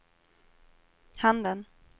handen